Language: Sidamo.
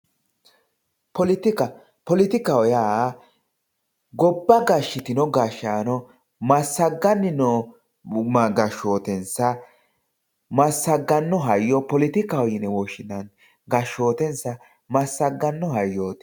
poletika poletikaho yaa gobba gashshitino gashshaano massagganni noo gashshootensa gashshootensa massagganno hayyo poletikaho yine woshshinanni massagganno hayyooti